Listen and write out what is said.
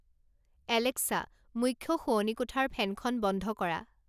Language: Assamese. এলেক্সা, মুখ্য শোৱনি কোঠাৰ ফেনখন বন্ধ কৰা